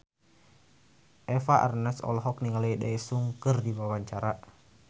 Eva Arnaz olohok ningali Daesung keur diwawancara